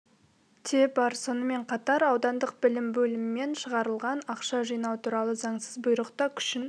те бар сонымен қатар аудандық білім бөлімімен шығарылған ақша жинау туралы заңсыз бұйрық та күшін